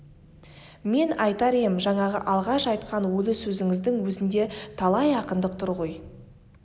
мен айтар ем жаңағы алғаш айтқан ойлы сөзіңіздің өзінде талай ақындық тұр ғой